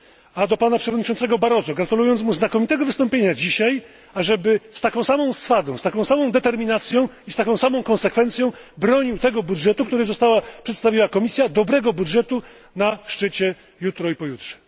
A do Przewodniczącego Barroso apeluję, gratulując mu znakomitego wystąpienia dzisiaj, ażeby z taką samą swadą, z taką samą determinacją i konsekwencją bronił tego budżetu, który przedstawiła Komisja dobrego budżetu na szczycie jutro i pojutrze.